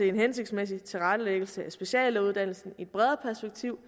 en hensigtsmæssig tilrettelæggelse af speciallægeuddannelsen i et bredere perspektiv